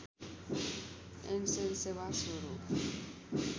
एन्सेल सेवा सुरू